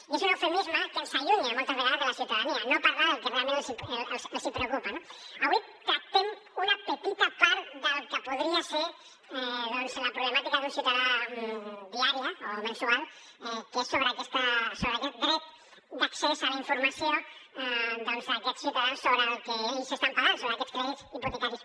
i és un eufemisme que ens allunya moltes vegades de la ciutadania no parlar del que realment els preocupa no avui tractem una petita part del que podria ser doncs la problemàtica d’un ciutadà diària o mensual que és sobre aquest dret d’accés a la informació d’aquests ciutadans sobre el que ells estan pagant sobre aquests crèdits hipotecaris